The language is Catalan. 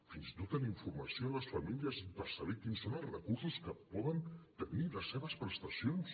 fins i tot en informació a les famílies per saber quins són els recursos que poden tenir les seves prestacions